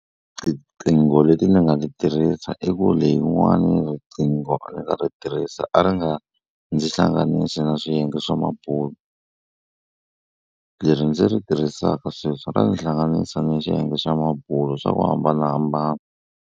Tiqingho leti ni nga ti tirhisa i ku leyin'wani riqingho ni nga ri tirhisa a ri nga ndzi hlanganisi na swiyenge swa mabulo leri ndzi ri tirhisaka sweswi ra ndzi hlanganisa ni swiyenge swa mabulo swa ku hambanahambana.